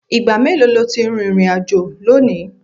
Ìgbà mélòó lo ti rìnrìn-àjò lónìí?